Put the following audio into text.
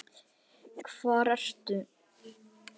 Hvar ertu?